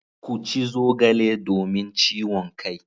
Ku ci zogale domin ciwon kai.